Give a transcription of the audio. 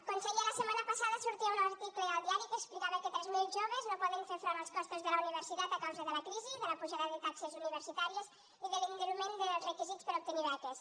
conseller la setmana passada sortia un article al diari que explicava que tres mil joves no poden fer front als costos de la universitat a causa de la crisi de la pujada de taxes universitàries i de l’enduriment dels requisits per obtenir beques